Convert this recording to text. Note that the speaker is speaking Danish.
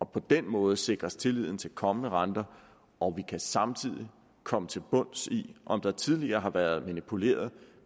på den måde sikres tilliden til kommende renter og vi kan samtidig komme til bunds i om der tidligere har været manipuleret